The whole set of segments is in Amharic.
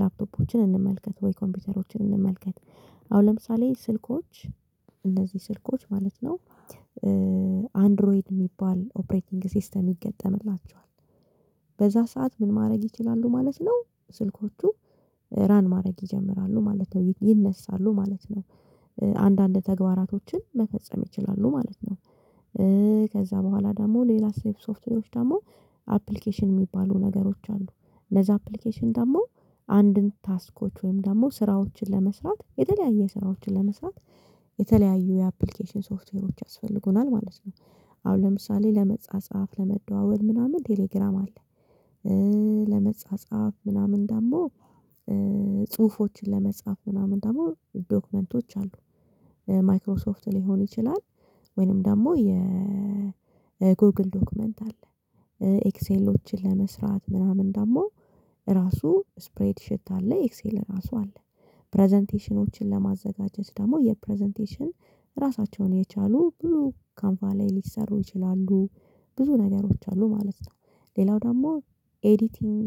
ላፕቶፖችን እንመልከት ወይ ኮምፒውተሮችን እንመልከት። አሁን ለምሳሌ ስልኮች እንደዚ ስልኮች ማለት ነው። አንድሮይድ ሚባል ኦፕሬቲንግ ሲስተም ይገጥምላቸዋል በዛ ሰዓት ምን ማረግ ይችላሉ ማለት ነው ስልኮቹ ራን ማረግ ይጀምራሉ ማለት ነው ይነሳሉ ማለት ነው። አንዳንድ ተግባራቶችን መፈጸም ይችላሉ ማለት ነው። ከዛ በኋላ ደሞ ሌላ ሴፍ ሶፍትዌሮች ደሞ አፕሊኬሽን ሚባሉ ነገሮች አሉ። እነዛ አፕሊኬሽን ደሞ አንድን ታስኮች ወይም ደሞ ስራዎችን ለመስራት የተለያየ ስራዎችን ለመስራት የተለያዩ የአፕሊኬሽን ሶፍትዌሮች ያስፈልጉናል ማለት ነው። አሁን ለምሳሌ ለመጻጻፍ ለመደዋወል ምናምን ቴሌግራም አለ። ለመጻጻፍ ምናምን ደሞ ጽሁፎችን ለመጻፍ ምናምን ደሞ ዶክመንቶች አሉ። ማይክሮሶፍት ሊሆን ይችላል ወይንም ደሞ የ ጎግል ዶክመንት አለ። ኤክሴሎችን ለመስራት ምናምን ደሞ ራሱ ስፕሬድ ሽት አለ ኤክሴል ራሱ አለ። ፕረዘንቴሽኖችን ለማዘጋጀት ደሞ የፕረዘንቴሽን ራሳቸውን የቻሉ ብዙ ካምቫ ላይ ሊሰሩ ይችላሉ። ብዙ ነገሮች አሉ ማለት ነው። ሌላው ደሞ ኤዲቲንግ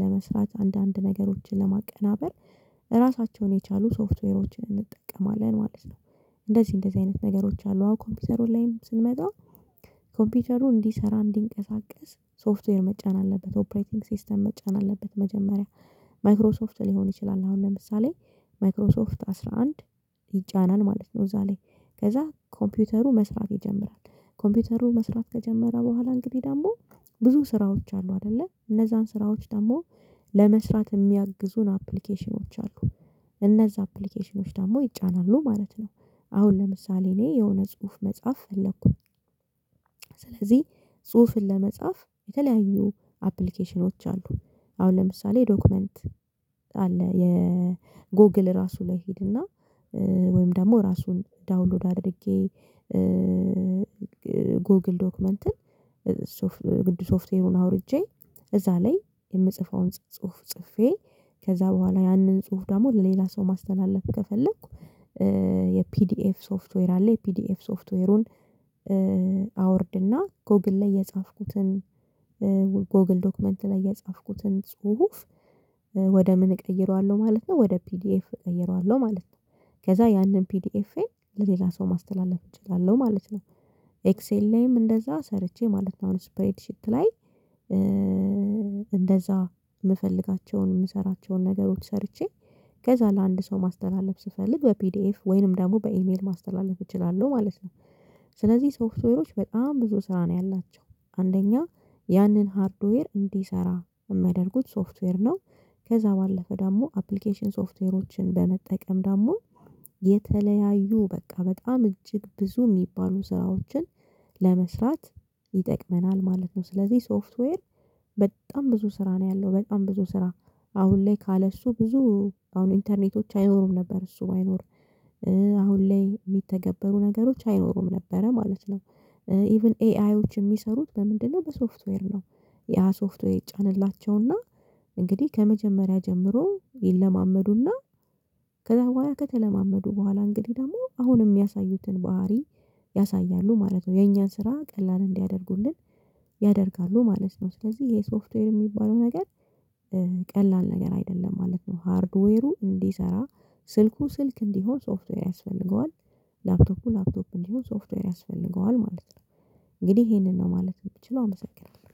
ለመስራት አንዳንድ ነገሮችን ለማቀናበር ራሳቸውን የቻሉ ሶፍትዌሮችን እንጠቀማለን ማለት ነው። እንደዚ እንደዚ አይነት ነገሮች አሉ አሁን ኮምፒውተሩ ላይም ስንመጣ ኮምፒውተሩ እንዲሰራ እንዲንቀሳቀስ ሶፍትዌር መጫን አለበት ኦፕሬይቲንግ ሲስተም መጫን አለበት። መጀመሪያ ማይክሮሶፍት ሊሆን ይችላል አሁን ለምሳሌ ማይክሮሶፍት አስራ አንድ ይጫናል ማለት ነው እዛ ላይ ከዛ ኮምፒውተሩ መስራት ይጀምራል። ኮምፒውተሩ መስራት ከጀመረ በኋላ እንግዲ ደሞ ብዙ ስራዎች አሉ አደለ እነዛን ስራዎች ደሞ ለመስራት ሚያግዙን አፕሊኬሽኖች አሉ። እነዛ አፕሊኬሽኖች ደሞ ይጫናሉ ማለት ነው አሁን ለምሳሌ እኔ የሆነ ጽሁፍ መጻፍ ፈለኩኝ። ስለዚ ጽሁፍን ለመጻፍ የተለያዩ አፕሊኬሽኖች አሉ። አሁን ለምሳሌ ዶክመንት አለ የጎግል ራሱ ላይ ሂድና ወይም ደሞ ራሱን ዳውንሎድ አድርጌ ጎግል ዶክመንትን ግድ ሶፍትዌሩን አውርጄ እዛ ለይ የምጽፈውን ጽሁፍ ጽፌ ከዛ በኋላ ያንን ጽሁፍ ደሞ ለሌላ ሰው ማስተላለፍ ከፈለኩ። የፒዲኤፍ ሶፍትዌር አለ የፒዲኤፍ ሶፍትዌሩን አወርድና ጎግል ላይ የጻፍኩትን ጎግል ዶክመንት ላይ የጻፍኩትን ጽሁፍ ወደ ምን እቀይረዋለው ማለት ነው ወደ ፒዲኤፍ እቀይረዋለው ማለት ነው። ከዛ ያንን ፒዲኤፍኤ ለሌላ ሰው ማስተላለፍ እችላለው ማለት ነው። ኤክስኤል ላይም እንደዛ ሰርቼ ማለት ነው አሁን ስፕሬድ ሺት ላይ እንደዛ ምፈልጋቸውን ምሰራቸውን ነገሮች ሰርቼ ከዛ ለአንድ ሰው ማስተላለፍ ስፈልግ በፒዲኤፍ ወይንም ደሞ በኢሜል ማስተላለፍ እችላለው ማለት ነው። ስለዚ ሶፍትዌሮች በጣም ብዙ ስራ ነው ያላቸው አንደኛ ያንን ሃርድዌር እንዲሰራ ሚያደርጉት ሶፍትዌር ነው። ከዛ ባለፈ ደሞ አፕሊኬሽን ሶፍትዌሮችን በመጠቀም ደሞ የተለያዩ በቃ በጣም እጅግ ብዙ ሚባሉ ስራዎችን ለመስራት ይጠቅመናል ማለት ነው። ስለዚ ሶፍትዌር በጣም ብዙ ስራ ነው ያለው በጣም ብዙ ስራ አሁን ላይ ካለሱ ብዙ አሁን ኢንተርኔቶች አይኖሩም ነበር እሱ ባይኖር አሁን ላይ ሚተገበሩ ነገሮች አይኖሩም ነበረ ማለት ነው። ኢቭን ኤአይዎች ሚሰሩት በምንድነው በሶፍትዌር ነው? ያ ሶፍትዌር ይጫንላቸውና እንግዲ ከመጀመሪያ ጀምሮ ይለማመዱና ከዛ በኋላ ከተለማመዱ በኋላ እንግዲ ደሞ አሁንም ሚያሳዩትን ባህሪ ያሳያሉ ማለት ነው። የኛን ስራ ቀላል እንዲያደርጉልን ያደርጋሉ ማለት ነው። ስለዚ ይሄ ሶፍትዌር ሚባለው ነገር ቀላል ነገር አይደለም ማለት ነው። ሃርድዌሩ እንዲሰራ ስልኩ ስልክ እንዲሆን ሶፍትዌር ያስፈልገዋል። ላፕቶፑ ላፕቶፕ እንዲሆን ሶፍትዌር ያስፈልገዋል ማለት ነው። እንግዲህ ይሄንን ነው ማለት ምችለው አመሰግናለው።